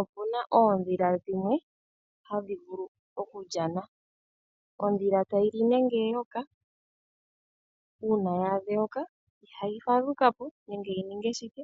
Opu na oodhila dhimwe hadhi vulu okulyana, ondhila tayi li nenge eyoka uuna ya adha eyoka, ihayi fadhuka po nenge yi ninge shike